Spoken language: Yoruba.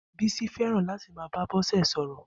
Bisi fẹràn làtí má bá Bose sọrọ